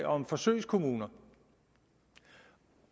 om forsøgskommuner